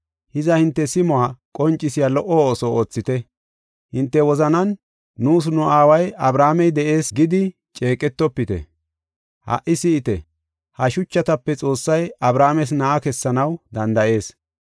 Hiza, hinte simuwa qoncisiya lo77o ooso oothite, hinte wozanan, ‘Nuus, nu aaway Abrahaamey de7ees gidi ceeqetofite.’ Haa si7ite, ha shuchatape Xoossay Abrahaames na7a kessanaw danda7ees.